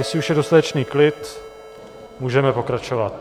Jestli už je dostatečný klid, můžeme pokračovat.